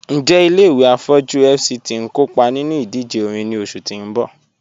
Njẹ̀ ilẹ̀-ìwé afọjú FCT n kọọpa nínú ìdíjè òrìṅ ni oṣù tì n bọ́?